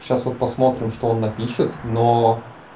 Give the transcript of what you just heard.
сейчас вот посмотрим что он напишет но